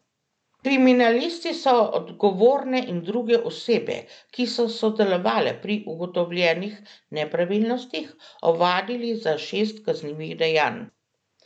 Kriminalisti so odgovorne in druge osebe, ki so sodelovale pri ugotovljenih nepravilnostih, ovadili za šest kaznivih dejanj.